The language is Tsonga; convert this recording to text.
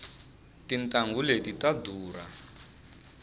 tintanghu leti ta durha